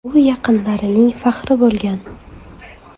U yaqinlarining faxri bo‘lgan”.